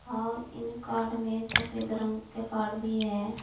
और इन कार्ड में सफेद रंग के कार्ड है।